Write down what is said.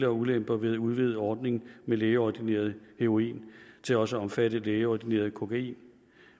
og ulemper ved at udvide ordningen med lægeordineret heroin til også at omfatte lægeordineret kokain